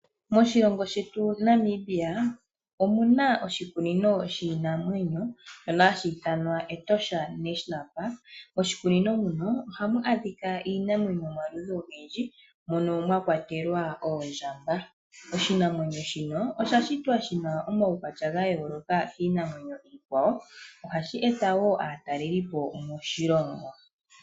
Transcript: Moshilongo shetu shaNamibia omu na oshikunino shiinamwenyo, shono hashi ithanwa Etosha National Park. Moshikunino muno ohamu adhika iinamwenyo yomaludhi ogendji, mono mwa kwatelwa oondjamba. Oshinamwenyo shino osha shitwa shi na omaukwatya ga yooloka kiinamwenyo iikwawo, ohashi eta wo aatalelipo moshilongo.